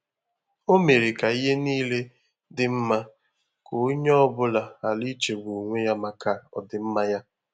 Ọ́ mèrè kà ìhè níílé dị́ mmá kà ónyé ọ bụ́lá ghàrà ìchégbú ónwé yá màkà ọdị́mmá yá.